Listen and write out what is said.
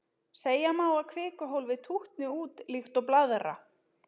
Segja má að kvikuhólfið tútni út líkt og blaðra.